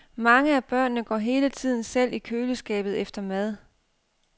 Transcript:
Mange af børnene går hele tiden selv i køleskabet efter mad.